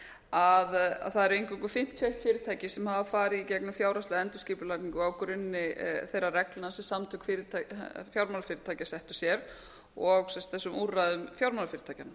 að það er eingöngu fimmtíu og eitt fyrirtæki sem sem hefur farið í gegnum fjárhagslega endurskipulagningu á grunni þeirra reglna sem samtök fjármálafyrirtækja settu sér og sem sagt þessum úrræðum fjármálafyrirtækjanna